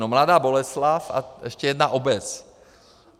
No, Mladá Boleslav a ještě jedna obec.